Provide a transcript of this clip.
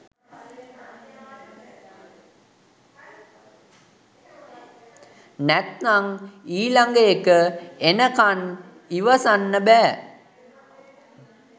නැත්තං ඊලගඑක එනකන් ඉවසන්න බෑ